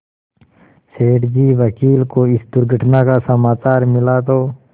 सेठ जी वकील को इस दुर्घटना का समाचार मिला तो